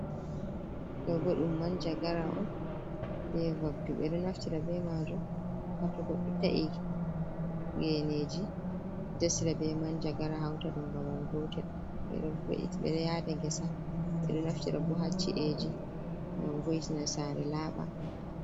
Ɗo bo ɗum manjagara on be vabdu ɓeɗo naftira be maju m ha to ta'i geneji dasa be manjagara hauta ɗum babal gotel ɓeɗo yada gesa ɓeɗo naftira bo ha chi'eji ngam vo’iti na sare laɓa.